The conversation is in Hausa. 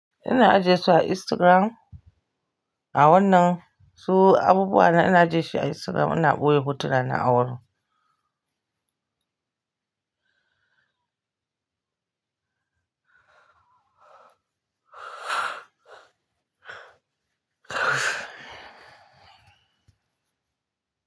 Ina ajiyesu a Instagram. A wannan su abubuwa na ina ajiyesu a Instagram ina boye hotuna na awurin.